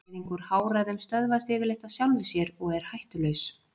Blæðing úr háræðum stöðvast yfirleitt af sjálfu sér og er hættulaus.